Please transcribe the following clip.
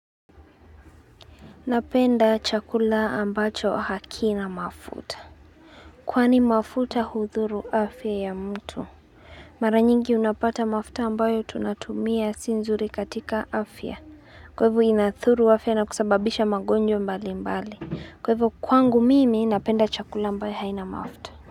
Napenda chakula ambacho hakina mafuta Kwani mafuta hudhuru afya ya mtu Maranyingi unapata mafuta ambayo tunatumia sio nzuri katika afya Kwa hivyo inadhuru afya na kusababisha magonjwa mbali mbali Kwa hivyo kwangu mimi napenda chakula ambayo haina mafuta.